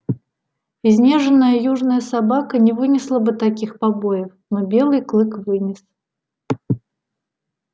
изнеженная южная собака не вынесла бы таких побоев но белый клык вынес